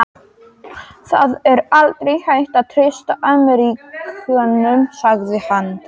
Það er aldrei hægt að treysta Ameríkönum sagði hann.